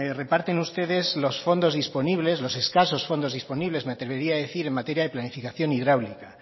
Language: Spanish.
reparten ustedes los fondos disponibles los escasos fondo disponibles me atrevería a decir en materia de planificación hidráulica